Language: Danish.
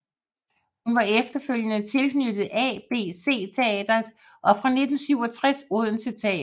Hun var efterfølgende tilknyttet ABC Teatret og fra 1967 Odense Teater